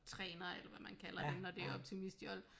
Træner eller hvad man kalder det når det er optimistjolle